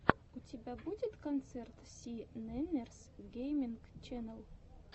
у тебя будет концерт си нэннерс гейминг ченнел